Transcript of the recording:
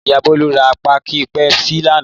Ìyá Bólú ra páákì Pepsi lánàá.